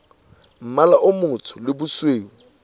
mmala o motsho le bosweu